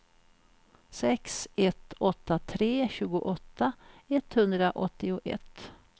sex ett åtta tre tjugoåtta etthundraåttioett